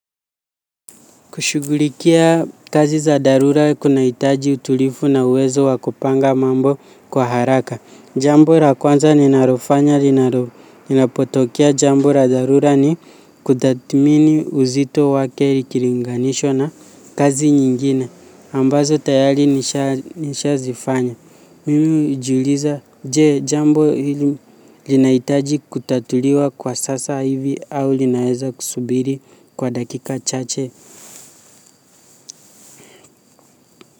Kushugulikia kazi za dharura kunahitaji utulivu na uwezo wa kupanga mambo kwa haraka. Jambo la kwanza ninalofanya, linapotokea jambo la dharura ni kutathmini uzito wake likilinganisho na kazi nyingine. Ambazo tayari nisha zifanya. Mimi hujiuliza jee jambo hili linahitaji kutatuliwa kwa sasa hivi au linaeza kusubiri kwa dakika chache.